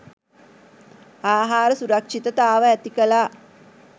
ආහාර සුරක්ෂිතතාව ඇති කළා.